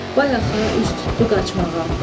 Baya axa üz tuttu qaçmağa.